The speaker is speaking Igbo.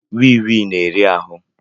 wịị wịị na-eri ahụ